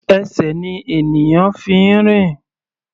Ẹsẹ̀ ni ènìyàn fi ń rìn.